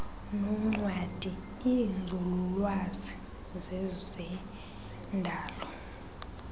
noncwadi iinzululwazi zezendalo